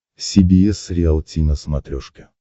си би эс риалти на смотрешке